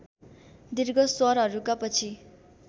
दीर्घ स्वरहरूका पछि